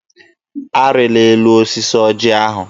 Arịla elu osisi ọjị ahụ!